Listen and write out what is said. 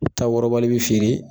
U taw wɔrɔbali be feere